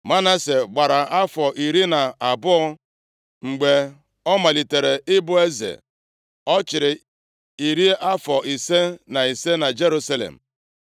Manase gbara afọ iri na abụọ mgbe ọ malitere ịbụ eze. Ọ chịrị iri afọ ise na ise na Jerusalem.